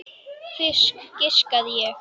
Fisk, giskaði ég.